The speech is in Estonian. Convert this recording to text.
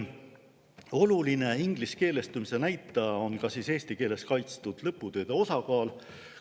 Oluline ingliskeelestumise näitaja on eesti keeles kaitstud lõputööde osakaal.